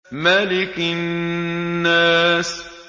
مَلِكِ النَّاسِ